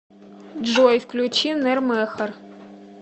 джой включи нэр мэхор